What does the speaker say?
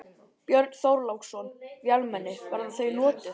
Björn Þorláksson: Vélmenni, verða þau notuð?